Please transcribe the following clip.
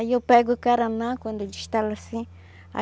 Aí eu pego o caraná, quando destala assim.